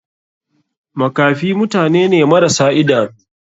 Makafi mutane ne marasa idanu.